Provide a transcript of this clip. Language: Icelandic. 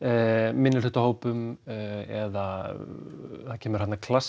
minnihlutahópum eða það kemur þarna klassískt